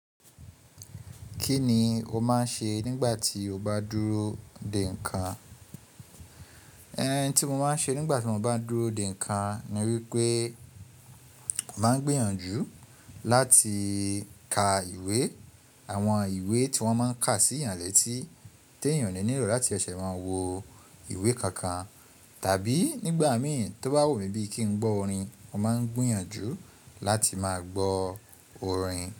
Kí ni o máa ń ṣe nígbà tí o bá dúró dè nǹkan? Ẹ̀hin tí mo máa ń ṣe nígbà tí mo bá dúró dè nǹkan ni wípé mo máa ń gbìyànjú láti ka ìwé, àwọn ìwé tí wọ́n máa ń kà sí ìyànlẹ̀ tí tí ènìyàn le nílò láti ṣẹ̀ máa wo ìwé kankan. Tàbí nígbà mìíràn tó bá wù mí bí i kí n gbọ́ orin, mo máa ń gbìyànjú láti máa gbọ́ orin.